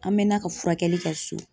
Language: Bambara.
An mɛna ka furakɛli kɛ so.